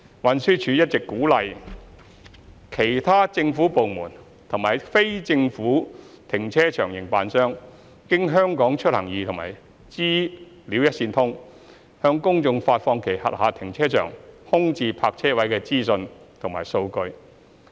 運輸署一直鼓勵其他政府部門及非政府停車場營辦商經"香港出行易"和"資料一線通"，向公眾發放其轄下停車場空置泊車位的資訊和數據。